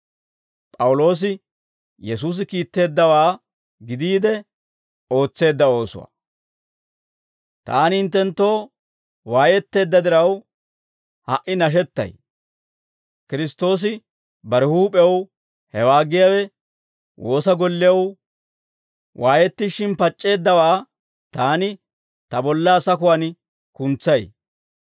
Taani hinttenttoo waayetteedda diraw, ha"i nashettay; Kiristtoosi bare huup'ew, hewaa giyaawe woosa gollew, waayettishin pac'c'eeddawaa taani ta bollaa sakuwaan kuntsay.